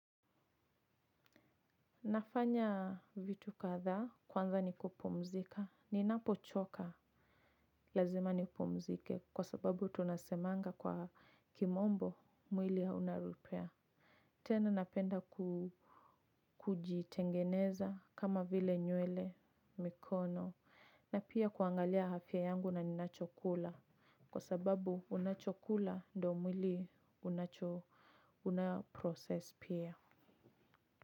Nafanya vitu kadhaa. Kwanza ni kupumzika ninapochoka lazima ni pumzike kwa sababu tunasemanga kwa kimombo mwili hauna repea tena napenda kujitengeneza kama vile nywele, mikono na pia kuangalia afya yangu na ninachokula kwa sababu unachokula ndo mwili unacho unaprocess pia.